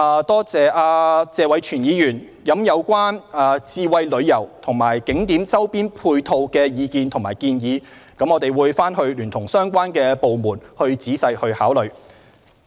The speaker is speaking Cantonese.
多謝謝偉銓議員就智慧旅遊和景點周邊配套提出的意見和建議，我們會聯同相關部門仔細考慮。